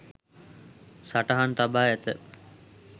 සටහන් තබා ඇත.